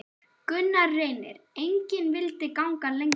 Gunnar Reynir: Engin vildi ganga lengra?